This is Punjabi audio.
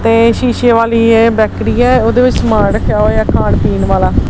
ਤੇ ਸ਼ੀਸ਼ੇ ਵਾਲੀ ਇਹ ਬੇਕਰੀ ਹੈ ਉਹਦੇ ਵਿੱਚ ਸਮਾਨ ਰੱਖਿਆ ਹੋਇਆ ਖਾਣ ਪੀਣ ਵਾਲਾ।